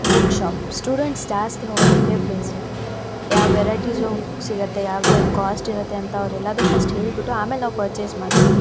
Books shops students ಜಾಸ್ತಿ ಹೋಗೋದು ಇದೇ ಪ್ಲೇಸ್ ಗೆ ಯಾವ್ ವೆರೈಟೀಸ್ ಓಫ್ ಬುಕ್ಸ್ ಸಿಗುತ್ತೆ ಯಾವ್ದ್ಯಾವ್ದ್ ಕೋಸ್ಟ್ ಇರುತ್ತೆ ಅಂತ ಅವ್ರು ಎಲ್ಲಾದು ಫರ್ಸ್ಟ್ ಹೇಳ್ಬಿಟ್ಟು ಆಮೇಲೆ ನಾವ್ ಪರ್ಚೇಸ್ ಮಾಡ್ತೀವಿ.